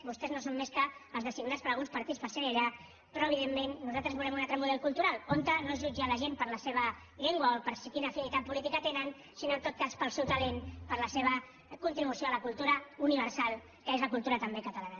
vostès no són més que els designats per alguns partits per ser allà però evidentment nosaltres volem un altre model cultural on no es jutja la gent per la seva llengua o per quina afinitat política tenen sinó en tot cas pel seu talent per la seva contribució a la cultura universal que és la cultura també catalana